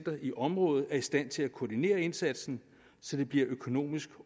i området er i stand til at koordinere indsatsen så det bliver økonomisk